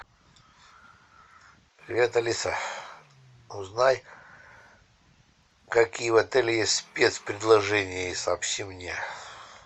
привет алиса узнай какие в отеле есть спец предложения и сообщи мне